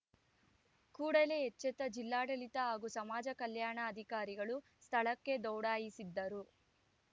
ಕೂಡಲೇ ಎಚ್ಚೆತ್ತ ಜಿಲ್ಲಾಡಳಿತ ಹಾಗೂ ಸಮಾಜ ಕಲ್ಯಾಣ ಅಧಿಕಾರಿಗಳು ಸ್ಥಳಕ್ಕೆ ದೌಡಾಯಿಸಿದ್ದರು